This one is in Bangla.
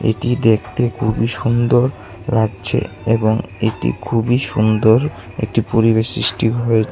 এটি দেখতে খুবই সুন্দর লাগছে এবং এটি খুবই সুন্দর একটি পরিবেশ সৃষ্টি হয়ে--